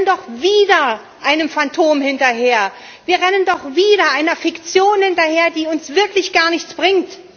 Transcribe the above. Wir rennen doch wieder einem Phantom hinterher, wir rennen doch wieder einer Fiktion hinterher, die uns wirklich gar nichts bringt!